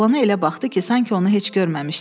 Oğlana elə baxdı ki, sanki onu heç görməmişdi.